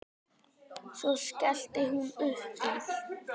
Svo skellti hún upp úr.